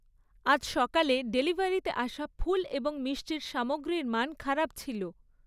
আজ সকালে ডেলিভারিতে আসা ফুল এবং মিষ্টির সামগ্রীর মান খারাপ ছিল।